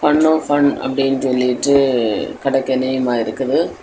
Fun oh fun அப்படின்னு சொல்லிட்டு கடெ கென்னியமா இருக்குது.